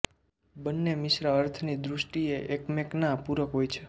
બંને મિસરા અર્થની દૃષ્ટિએ એકમેકના પૂરક હોય છે